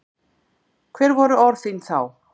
Hver voru orð þín þá?